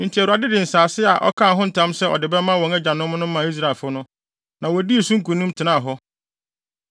Enti Awurade de nsase a ɔkaa ho ntam sɛ ɔde bɛma wɔn agyanom no maa Israelfo no, na wodii so nkonim, tenaa hɔ.